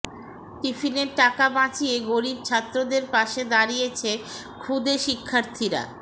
টিফিনের টাকা বাঁচিয়ে গরিব ছাত্রদের পাশে দাঁড়িয়েছে খুদে শিক্ষার্থীরা